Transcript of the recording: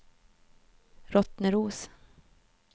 Rottneros